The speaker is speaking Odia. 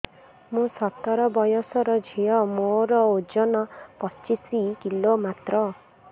ମୁଁ ସତର ବୟସର ଝିଅ ମୋର ଓଜନ ପଚିଶି କିଲୋ ମାତ୍ର